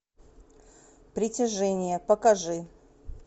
притяжение покажи